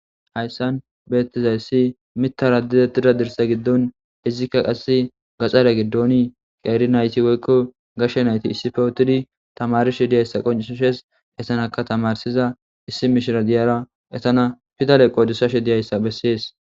Hayssan beettizayssi mitara didetida dirsa giddon izikka qasse gaxara giddoni qeeri nayti woykko gashshe nayti issifewotidi tamarishe diyayssa qoncshes essanaka tamarsiza issi mishira diyara esana fidale qodussashe diyayssa bessees.